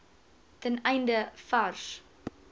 ten einde vars